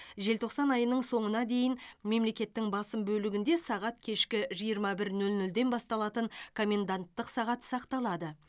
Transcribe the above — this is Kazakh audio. желтоқсан айының соңына дейін мемлекеттің басым бөлігінде сағат кешкі жиырма бір нөл нөлден басталатын коменданттық сағат сақталады